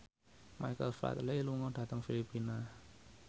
Michael Flatley lunga dhateng Filipina